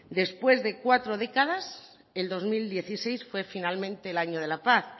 después de cuatro décadas el dos mil dieciséis fue finalmente el año de la paz